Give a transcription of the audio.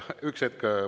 Üks hetk!